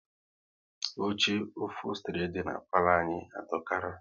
Oche ofostri dị na palo anyị adokara